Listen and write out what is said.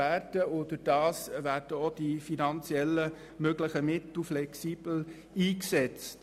Dadurch werden auch die finanziellen Mittel flexibel eingesetzt.